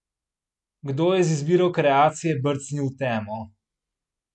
Kdo je z izbiro kreacije brcnil v temo?